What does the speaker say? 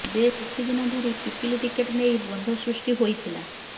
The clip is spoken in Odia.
ବେଶ କିଛି ଦିନ ଧରି ପିପିଲି ଟିକେଟ ନେଇ ଦ୍ୱନ୍ଦ୍ୱ ସୃ୍ଷ୍ଟି ହୋଇଥିଲା